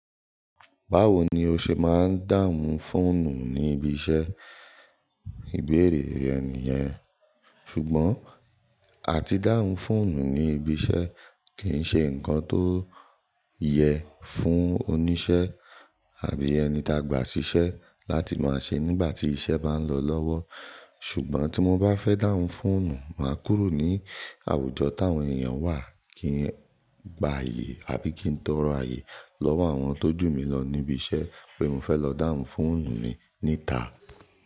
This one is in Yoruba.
Báwo ni o ṣe máa ń dáhùn fóònù ní ibi iṣẹ́? Ìbéèrè yẹn nìyẹn. Ṣùgbọ́n àti dáhùn fóònù ní ibi iṣẹ́ kì í ṣe nǹkan tó yẹ fún oníṣẹ́ àbí ẹni tá gbà sí iṣẹ́ láti máa ṣe nígbà tí iṣẹ́ bá lọ lọ́wọ́. Ṣùgbọ́n tí mo bá fẹ́ dáhùn fóònù, màá kúrò ní àwùjọ táwọn èèyàn wà kí n gba ààyè àbí kí n tọ rọ ààyè lọ́wọ́ àwọn tó jù mí lọ níbi iṣẹ́ pé mo fẹ́ lọ dáhùn fóònù mi níta.